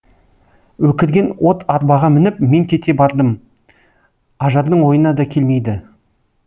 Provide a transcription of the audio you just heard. өкірген от арбаға мініп мен кете бардым ажардың ойына да келмейді